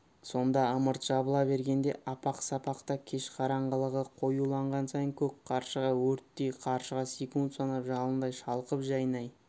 сонда ымырт жабыла бергенде апақ-сапақта кеш қараңғылығы қоюланған сайын көк қаршыға өрттей қаршыға секунд санап жалындай шалқып жайнай